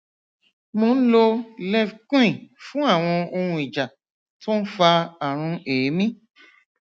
mo ń lo levquin fún àwọn ohun ìjà tó ń fa àrùn èémí